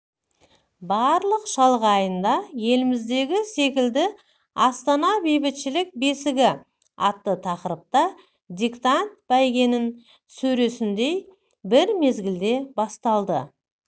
барлық шалғайында еліміздегі секілді астана бейбітшілік бесігі атты тақырыпта диктант бәйгенің сөресіндей бір мезгілде басталды